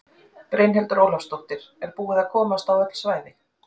Brynhildur Ólafsdóttir: Er búið að komast á öll svæði?